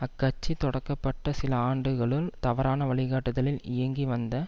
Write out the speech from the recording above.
அக்கட்சி தொடக்கப்பட்ட சில ஆண்டுகளுள் தவறான வழி காட்டுதலில் இயங்கி வந்த